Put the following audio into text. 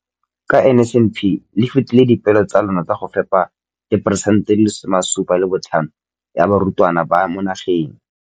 Ka NSNP le fetile dipeelo tsa lona tsa go fepa masome a supa le botlhano a diperesente ya barutwana ba mo nageng.